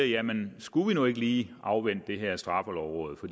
jamen skulle vi nu ikke lige afvente det her straffelovråd for